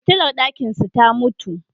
Fitilar ɗakinsu ta mutu.